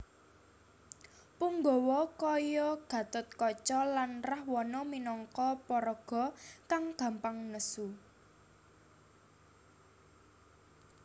Punggawa kaya Gatotkaca lan Rahwana minangka paraga kang gampang nesu